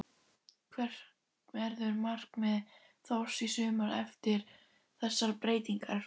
Hvert verður markmið Þórs í sumar eftir þessar breytingar?